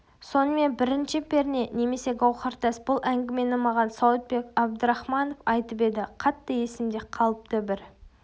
сонымен бірінші перне немесе гауһартас бұл әңгімені маған сауытбек абдрахманов айтып еді қатты есімде қалыпты бір